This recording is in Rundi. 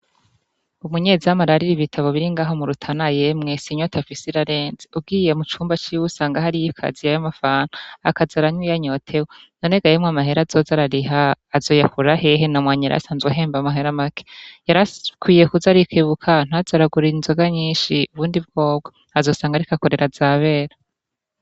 umunyezamu arariri ibitabo biri ngaha mu Rutana ye mwe inyota afise irarenze ugiye mu cumba ciwe usanga hari y'ikaziya ya mafanta akazaranya iya nyotewe none ga yemwe amahera azoza arariha azo yakura hehe namwanyira asanzwe ahemba amahera make yarakwiye kuz arikebuka ntaze aragura inzoga nyinshi ubundi bwobwo azosanga arika korera zabera.